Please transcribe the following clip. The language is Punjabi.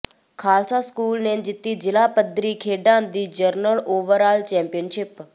ਖਾਲਸਾ ਸਕੂਲ ਨੇ ਜਿੱਤੀ ਜ਼ਿਲ੍ਹਾ ਪੱਧਰੀ ਖੇਡਾਂ ਦੀ ਜਨਰਲ ਓਵਰਆਲ ਚੈਂਪੀਅਨਸ਼ਿਪ